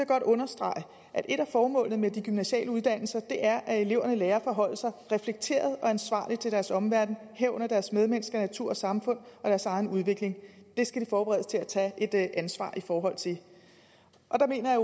godt understrege at et af formålene med de gymnasiale uddannelser er at eleverne lærer at forholde sig reflekteret og ansvarligt til deres omverden herunder deres medmennesker natur og samfund og deres egen udvikling det skal de forberedes til at tage et ansvar i forhold til og der mener jeg